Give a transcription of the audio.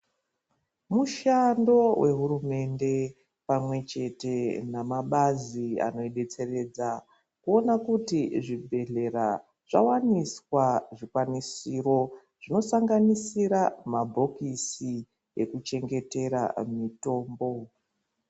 Mushando vehurumende pamwe chete namabazi anobetseredza. Kuona kuti zvibhedhlera zvavaniswa zvikwanisiro zvinosanganisira mabhokisi ekuchengetera mitombo.